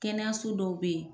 Kɛnɛyaso dɔw bɛ yen.